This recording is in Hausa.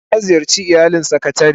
Eh, na ziyarce iyalin sakatare